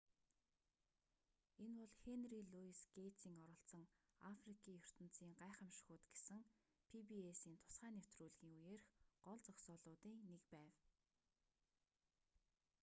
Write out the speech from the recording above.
энэ бол хенри луйс гэйтсийн оролцсон африкийн ертөнцийн гайхамшгууд гэсэн пи-би-эс-ийн тусгай нэвтрүүлгийн үеэрх гол зогсоолуудын нэг байв